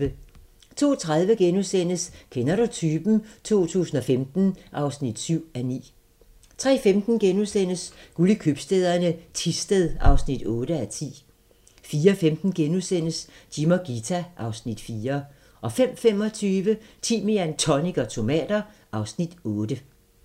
02:30: Kender du typen? 2015 (7:9)* 03:15: Guld i købstæderne - Thisted (8:10)* 04:15: Jim og Ghita (Afs. 4)* 05:25: Timian, tonic og tomater (Afs. 8)